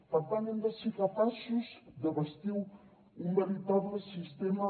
per tant hem de ser capaços de bastir un veritable sistema